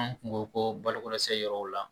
An kun ko ko balokosɛ yɔrɔw la